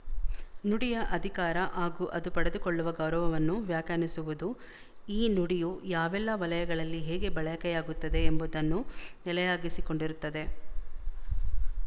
ನುಡಿಯ ಅಧಿಕಾರ ಹಾಗೂ ಅದು ಪಡೆದುಕೊಳ್ಳುವ ಗೌರವವನ್ನು ವ್ಯಾಖ್ಯಾನಿಸುವುದು ಈ ನುಡಿಯು ಯಾವೆಲ್ಲ ವಲಯಗಳಲ್ಲಿ ಹೇಗೆ ಬಳಕೆಯಾಗುತ್ತದೆ ಎಂಬುದನ್ನು ನೆಲೆಯಾಗಿಸಿಕೊಂಡಿರುತ್ತದೆ